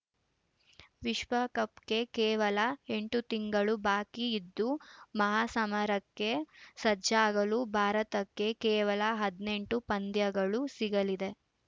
ವಿಶ್ವಕಪ್‌ಗೆ ಕೇವಲ ಎಂಟು ತಿಂಗಳು ಬಾಕಿ ಇದ್ದು ಮಹಾಸಮರಕ್ಕೆ ಸಜ್ಜಾಗಲು ಭಾರತಕ್ಕೆ ಕೇವಲ ಹದನೆಂಟು ಪಂದ್ಯಗಳು ಸಿಗಲಿದೆ